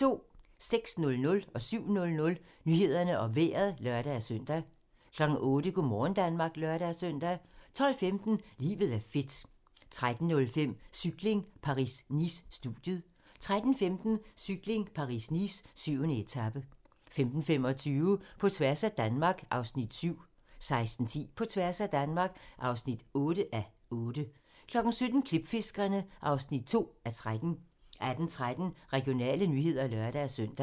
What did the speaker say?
06:00: Nyhederne og Vejret (lør-søn) 07:00: Nyhederne og Vejret (lør-søn) 08:00: Go' morgen Danmark (lør-søn) 12:15: Livet er fedt 13:05: Cykling: Paris-Nice - studiet 13:15: Cykling: Paris-Nice - 7. etape 15:25: På tværs af Danmark (7:8) 16:10: På tværs af Danmark (8:8) 17:00: Klipfiskerne (2:13) 18:13: Regionale nyheder (lør-søn)